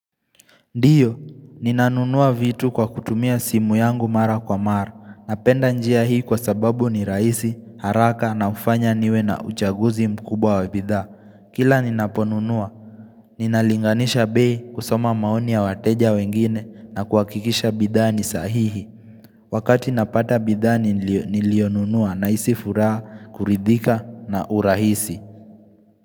Ndiyo, ninanunua vitu kwa kutumia simu yangu mara kwa mara, napenda njia hii kwa sababu ni rahisi, haraka na hufanya niwe na uchaguzi mkubwa wa bidhaa. Kila ninaponunua, ninalinganisha bei kusoma maoni ya wateja wengine na kuhakikisha bidhaa ni sahihi. Wakati napata bidhaa niliyonunua nahisi furaha, kuridhika na urahisi.